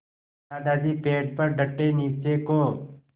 दादाजी पेड़ पर डटे नीचे को